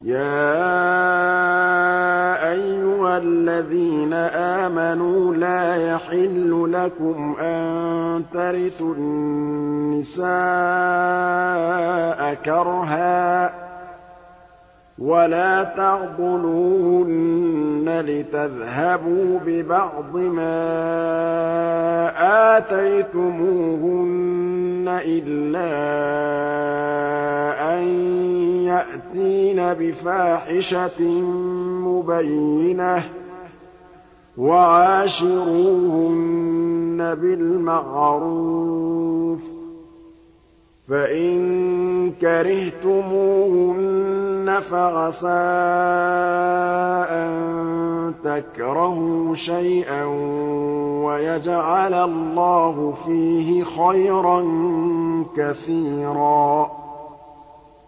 يَا أَيُّهَا الَّذِينَ آمَنُوا لَا يَحِلُّ لَكُمْ أَن تَرِثُوا النِّسَاءَ كَرْهًا ۖ وَلَا تَعْضُلُوهُنَّ لِتَذْهَبُوا بِبَعْضِ مَا آتَيْتُمُوهُنَّ إِلَّا أَن يَأْتِينَ بِفَاحِشَةٍ مُّبَيِّنَةٍ ۚ وَعَاشِرُوهُنَّ بِالْمَعْرُوفِ ۚ فَإِن كَرِهْتُمُوهُنَّ فَعَسَىٰ أَن تَكْرَهُوا شَيْئًا وَيَجْعَلَ اللَّهُ فِيهِ خَيْرًا كَثِيرًا